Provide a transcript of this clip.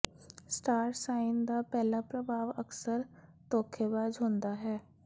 star sign ਦਾ ਪਹਿਲਾ ਪ੍ਰਭਾਵ ਅਕਸਰ ਧੋਖੇਬਾਜ਼ ਹੁੰਦਾ ਹੈ